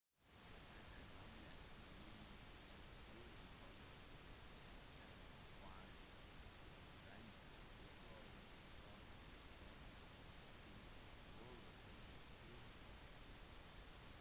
den eldgamle byen i judean høydene har en fascinerende historie som strekker seg over flere tusen år